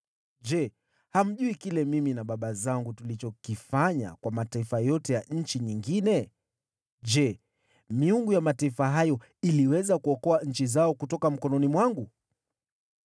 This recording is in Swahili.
“Je, hamjui yale mimi na baba zangu tuliyoyafanya kwa mataifa yote ya nchi zingine? Je, miungu ya mataifa hayo iliweza kuokoa nchi zao kutoka mkononi mwangu?